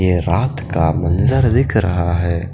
ये रात का मंज़र दिख रहा है।